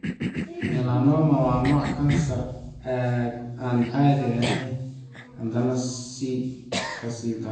Melanoma waa nooc kansar aan caadi ahayn, haddana ka sii daran.